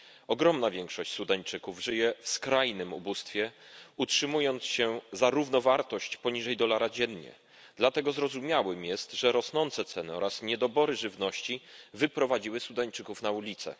Ogromna większość Sudańczyków żyje w skrajnym ubóstwie, utrzymując się za równowartość poniżej dolara dziennie, dlatego zrozumiałe jest, że rosnące ceny oraz niedobory żywności wyprowadziły Sudańczyków na ulice.